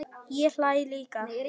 Raðið saman fallega á disk.